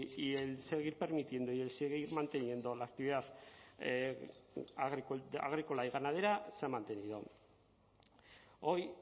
y el seguir permitiendo y el seguir manteniendo la actividad agrícola y ganadera se ha mantenido hoy